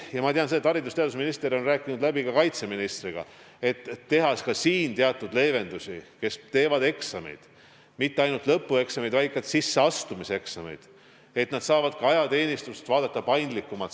Ma tean seda, et haridus- ja teadusminister on rääkinud läbi ka kaitseministriga, et teha ka siin teatud leevendusi, nii et nende puhul, kes teevad eksameid – mitte ainult lõpueksameid, vaid ka sisseastumiseksameid –, saaks ka ajateenistust vaadata sel korral paindlikumalt.